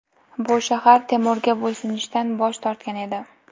Bu shahar Temurga bo‘ysunishdan bosh tortgan edi.